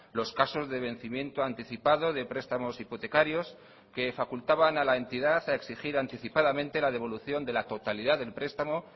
los casos de vencimiento anticipado de prestamos hipotecarios que facultaban a la entidad a exigir anticipadamente la devolución de la totalidad del prestamo